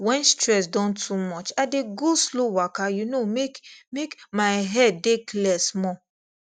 when stress don too much i dey go slow waka you know make make my head dey clear small